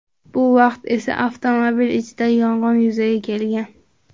Bu vaqt esa avtomobil ichida yong‘in yuzaga kelgan.